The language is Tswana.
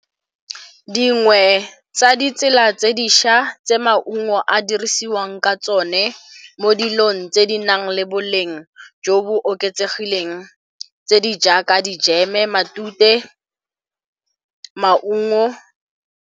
Dingwe tsa ditsela tse di šwa tse maungo a dirisiwang ka tsone mo dilong tse di nang le boleng jo bo oketsegileng tse di jaaka dijeme, matute, maungo.